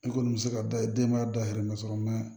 I kɔni bɛ se ka da denma dayɛlɛ ka sɔrɔ